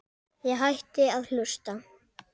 Ég hætti að hlusta.